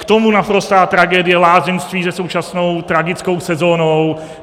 K tomu naprostá tragédie lázeňství se současnou tragickou sezónou.